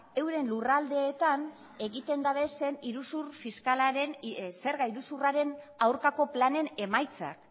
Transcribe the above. euren lurraldeetan egiten dabezen iruzur fiskalaren zerga iruzurraren aurkako planen emaitzak